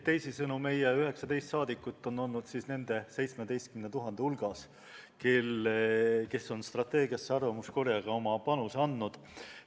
Teisisõnu, meie 19 liiget on olnud nende 17 000 hulgas, kes on arvamuskorjega strateegiasse oma panuse andnud.